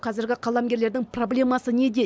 қазіргі қаламгерлердің проблемасы неде